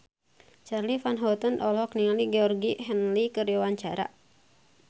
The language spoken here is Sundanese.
Charly Van Houten olohok ningali Georgie Henley keur diwawancara